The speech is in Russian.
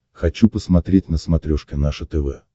хочу посмотреть на смотрешке наше тв